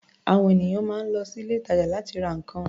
À̀wọn ènìyàn máa ń lọ sí ilé-ìtàjà láti ra nǹkan.